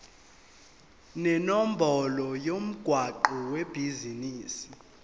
nenombolo yomgwaqo webhizinisi